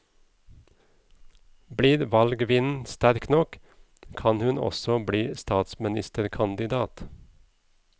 Blir valgvinden sterk nok, kan hun også bli statsministerkandidat.